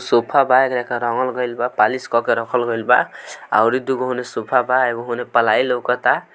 sofa कराईगल बा polish करके रखलवा और एगो दुगो सोफा बा एगो में पलाई लगतवा